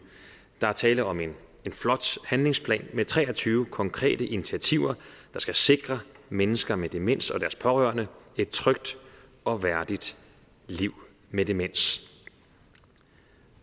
der er tale om en flot handlingsplan med tre og tyve konkrete initiativer der skal sikre mennesker med demens og deres pårørende et trygt og værdigt liv med demens